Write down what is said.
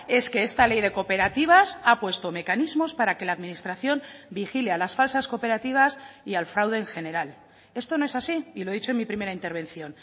es que esta ley de cooperativas ha puesto mecanismos para que la administración vigile a las falsas cooperativas y al fraude en general esto no es así y lo he dicho en mi primera intervención